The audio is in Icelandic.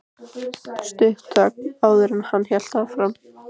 Stutt þögn, áður en hann hélt áfram.